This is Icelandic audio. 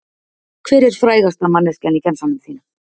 Hver er frægasta manneskjan í gemsanum þínum?